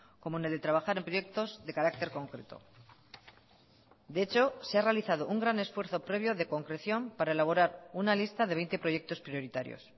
como en el de trabajar en proyectos de carácter concreto de hecho se ha realizado un gran esfuerzo previo de concreción para elaborar una lista de veinte proyectos prioritarios